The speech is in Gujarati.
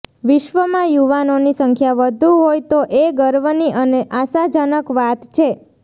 વિશ્વમાં યુવાનોની સંખ્યા વધુ હોય તો એ ગર્વની અને આશાજનક વાત છે